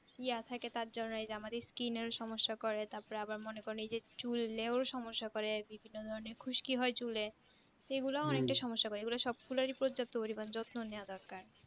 ইয়া থাকে তারজন্য এই যে আমার স্কিনের ও সমস্যা করে তাপরে আবার মনে করেন এই যে চুলেও সমস্যা করে বিভিন্ন ধরণের খুশকি হয় চুলে সেগুলাও অনেকটা সমস্যা করে এগুলা সবগুলার ই উপর যত্ন করিবেন যত্ন নেওয়া দরকার